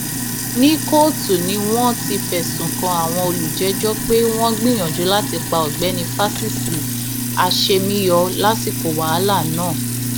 ní kóòtù ni wọn ti fẹsùn kan àwọn olùjẹjọ pé wọn gbìyànjú láti pa ọgbẹni fásisì àṣemíyọ lásìkò wàhálà náà